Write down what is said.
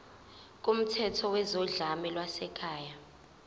kumthetho wezodlame lwasekhaya